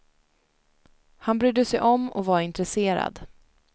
Han brydde sig om och var intresserad.